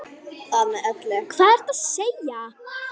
Hvað ertu að segja!